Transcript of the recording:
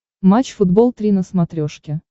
матч футбол три на смотрешке